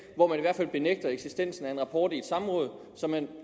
hvor man i hvert fald benægter eksistensen af en rapport i et samråd som man